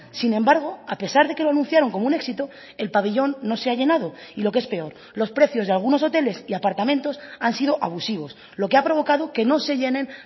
sin embargo a pesar de que lo anunciaron como un éxito el pabellón no se ha llenado y lo que es peor los precios de algunos hoteles y apartamentos han sido abusivos lo que ha provocado que no se llenen